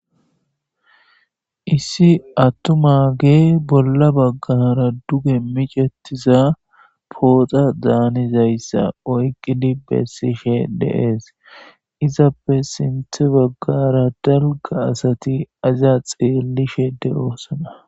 Issi attum aage bolla baggara duge micetiza pooxa daanizayssa oyqqidi bessishe deees izappe sinthe baggara dalga asati aziya xeellishe de7oosana.